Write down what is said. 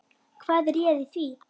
Hvað réði því?